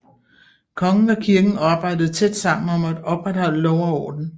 Kongen og kirken arbejdede tæt sammen om at opretholde lov og orden